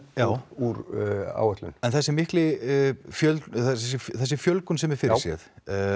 úr áætlun en þessi fjölgun þessi fjölgun sem er fyrirséð